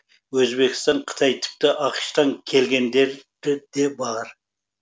өзбекстан қытай тіпті ақш тан келгендері де болды